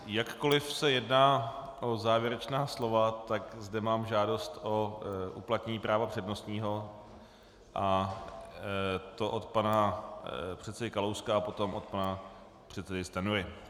Jakkoliv se jedná o závěrečná slova, tak zde mám žádost o uplatnění práva přednostního, a to od pana předsedy Kalouska a potom od pana předsedy Stanjury.